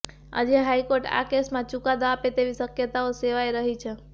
આજે હાઈકોર્ટ આ કેસમાં ચુકાદો આપે તેવી શક્યતાઓ સેવાઈ રહી છે